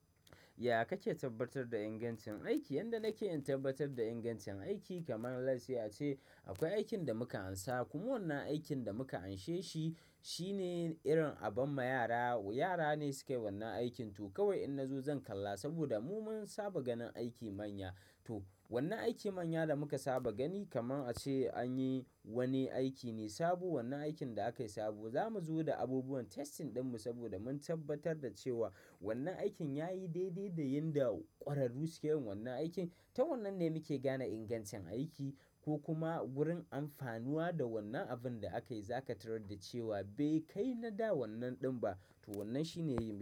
Ya kake tabbatar da ingancin aiki? Yanda nake in tabbatar da ingancin aiki kaman lets say ace, akwai aikin da muka amsa kuma wannan aikin da muka amshe shi, shine irin aban ma yara, yara ne suke wannan aikin to kawai in na zo zan kalla saboda mu mun saba ganin aiki manya. To wannan aiki manya da muka saba gani kaman ace anyi wanni aiki ne sabo wannan aikin da aka yi sabo za mu zo da abubuwan testing ɗin mu saboda mun tabbatar da cewa wannan aikin ya yi daidai da yanda ƙwararru suke yin wannan aikin. Ta wannan ne muke gane ingancin aiki ko kuma gurin amfanuwa da wannan abin da aka yi, zaka tarar da cewa bai kai na da wannan ɗin ba. To wannan shine yin.